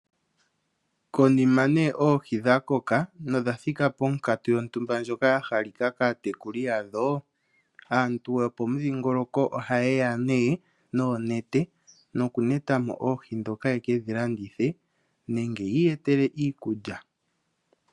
Konima nee Oohi dha koka nodha thika ponkatu yontumba ndyoka ya halika kaatekuli yadho, aantu yo pomudhingoloko oha yeya nee noonete noku netamo Oohi dhoka ye kedhi landithe nenge yi iyetele iikulya.